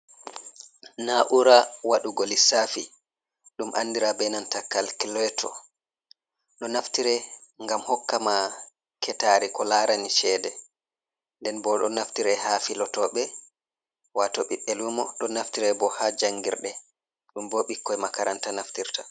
Na ura waɗugo lisafi. Ɗum anɗira ɓe nanta kalkiloto. Ɗo naftirai ngam hokka ma ketari ko larani cheɗe. nɗen ɓo ɗo naftirai ha filotoɓe, wato ɓiɓɓe lumo. Ɗon naftira ɓo ha jangirɗe ɗum ɓo ɓikkoi makaranta naftirta.